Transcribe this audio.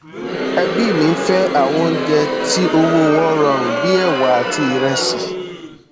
ẹbí mi fẹ àwọn oúnjẹ tí owó wọn rọrùn bí ẹwà àti ìrẹsì